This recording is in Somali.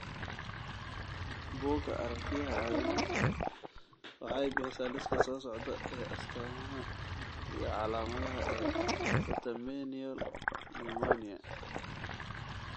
Bugga Aragtiyaha Aadanaha waxay bixisaa liiska soo socda ee astaamaha iyo calaamadaha ee Catamenial limoniyaa.